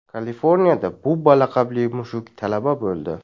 Kaliforniyada Bubba laqabli mushuk talaba bo‘ldi.